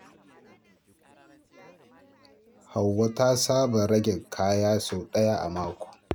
Hauwa ta saba rage kaya a daki sau ɗaya a mako.